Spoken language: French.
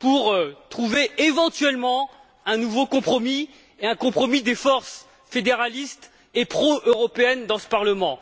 pour trouver, éventuellement, un nouveau compromis et un compromis des forces fédéralistes et pro européennes dans ce Parlement.